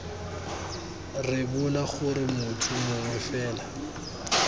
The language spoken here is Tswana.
rebola gore motho mongwe fela